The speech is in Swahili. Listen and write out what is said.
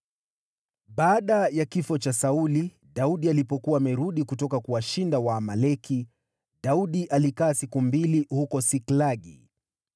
Baada ya kifo cha Sauli, Daudi alipokuwa amerudi kutoka kuwashinda Waamaleki, Daudi alikaa siku mbili huko Siklagi.